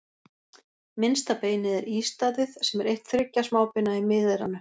Minnsta beinið er ístaðið, sem er eitt þriggja smábeina í miðeyranu.